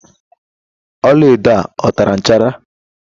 ọla edo a o tara nchara?